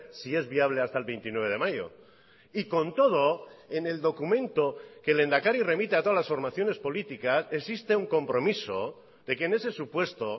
si es viable hasta el veintinueve de mayo y con todo en el documento que el lehendakari remite a todas las formaciones políticas existe un compromiso de que en ese supuesto